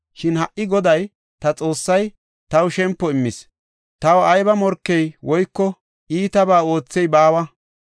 Shin ha77i Goday ta Xoossay taw shempo immis; taw ayba morkey woyko iitabaa oothey baawa.